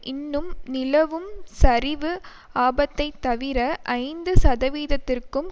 இன்னும் நிலவும் சரிவு ஆபத்தைத்தவிர ஐந்து சதவிதத்திற்கும்